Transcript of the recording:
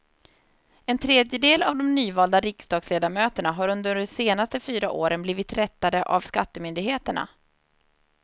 En tredjedel av de nyvalda riksdagsledamöterna har under de senaste fyra åren blivit rättade av skattemyndigheterna.